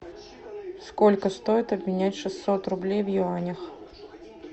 сколько стоит обменять шестьсот рублей в юанях